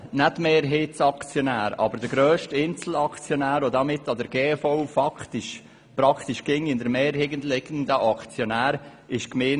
Die Gemeinde Adelboden ist zwar nicht Mehrheitsaktionärin, aber die grösste Einzelaktionärin.